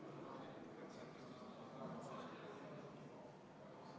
Vastavalt määruse artikli 2 lõikele 4 on võimalik erandeid pikendada kaks korda maksimaalselt viieks aastaks.